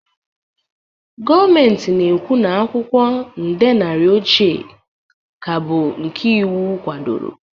Gọọmenti na-ekwu na akwụkwọ nde naira ochie ka bụ nke iwu kwadoro